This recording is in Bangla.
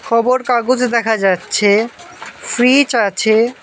খবর কাগজ দেখা যাচ্ছে ফ্রিজ আছে।